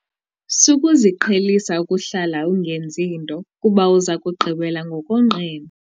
Sukuziqhelisa ukuhlala ungenzi nto kuba uza kugqibela ngokonqena.